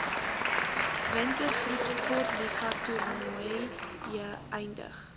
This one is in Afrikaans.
wintergroepsportliga toernooie eindig